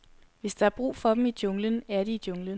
Hvis der er brug for dem i junglen, er de i junglen.